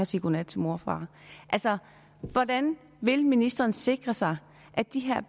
sige godnat til mor og far altså hvordan vil ministeren sikre sig at de her